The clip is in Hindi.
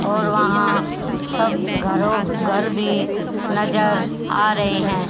और वहां सब घरों घर भी नजर आ रहे हैं।